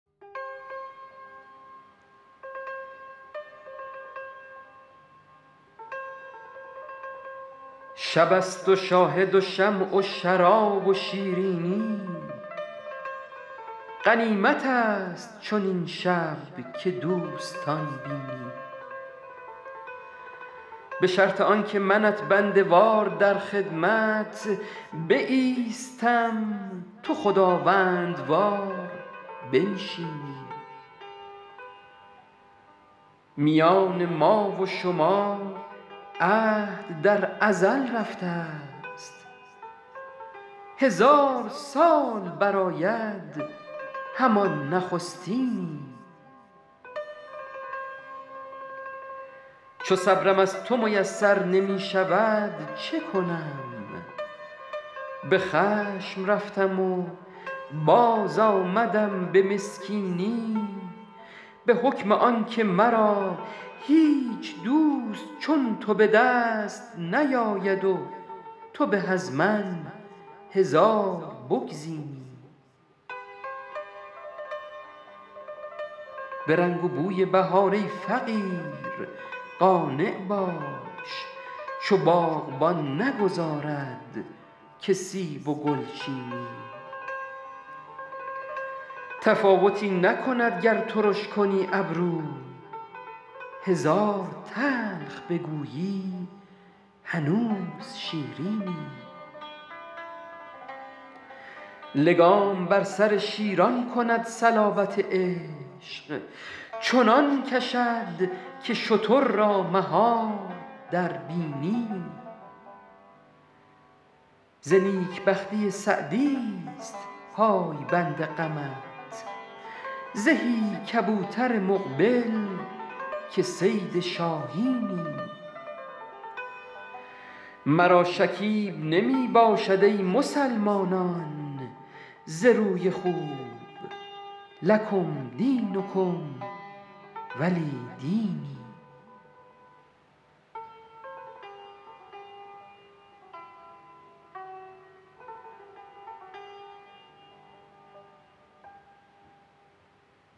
شب است و شاهد و شمع و شراب و شیرینی غنیمت است چنین شب که دوستان بینی به شرط آن که منت بنده وار در خدمت بایستم تو خداوندوار بنشینی میان ما و شما عهد در ازل رفته ست هزار سال برآید همان نخستینی چو صبرم از تو میسر نمی شود چه کنم به خشم رفتم و باز آمدم به مسکینی به حکم آن که مرا هیچ دوست چون تو به دست نیاید و تو به از من هزار بگزینی به رنگ و بوی بهار ای فقیر قانع باش چو باغبان نگذارد که سیب و گل چینی تفاوتی نکند گر ترش کنی ابرو هزار تلخ بگویی هنوز شیرینی لگام بر سر شیران کند صلابت عشق چنان کشد که شتر را مهار در بینی ز نیک بختی سعدی ست پایبند غمت زهی کبوتر مقبل که صید شاهینی مرا شکیب نمی باشد ای مسلمانان ز روی خوب لکم دینکم ولی دینی